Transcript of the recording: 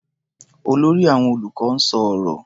Olórí àwọn olùkọ́ ń sọ ọ̀rọ̀.